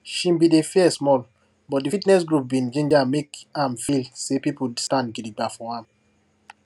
she been dey fear sumol but di fitness group bin ginger make am feel say pipu stand gidigba for am